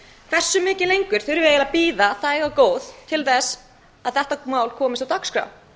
hversu mikið lengur þurfum við eiginlega að bíða þæg og góð til að þetta mál komist á dagskrá